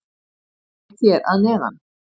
það er útskýrt hér fyrir neðan